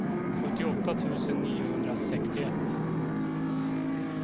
sjuttioåtta tusen niohundrasextioett